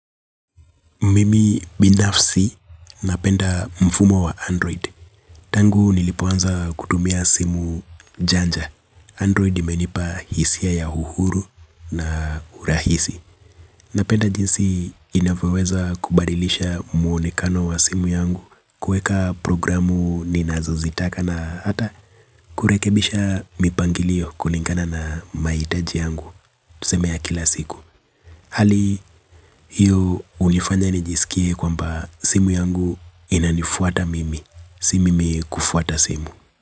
Mimi binafsi napenda mfumo wa android. Tangu nilipoanza kutumia simu janja. Android imenipa hisia ya uhuru na urahisi. Napenda jinsi inavyoweza kubadilisha muonekano wa simu yangu kuweka programu ninazo zitaka na hata kurekebisha mipangilio kulingana na mahitaji yangu. Tuseme ya kila siku. Hali hiyo hunifanya nijisikie kwamba simu yangu inanifuata mimi. Si mimi kufuata simu.